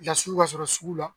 ka sɔrɔ sugu la